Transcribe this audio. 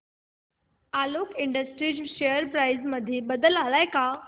Alok industries share price मध्ये बदल आलाय का